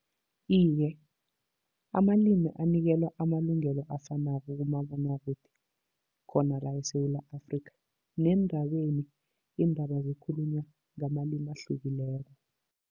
Iye, amalimi anikelwa amalungelo afanako kumabonwakude khona la eSewula Afrikha. Neendabeni iindaba zikhulunywa ngamalimi ahlukileko.